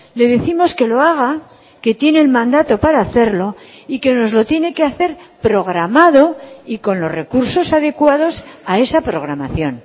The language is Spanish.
le décimos que lo haga que tiene el mandato para hacerlo y que nos lo tiene que hacer programado y con los recursos adecuados a esa programación